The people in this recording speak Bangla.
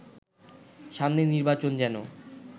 সামনের নির্বাচন যেন